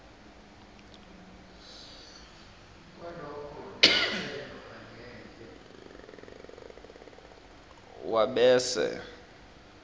wabese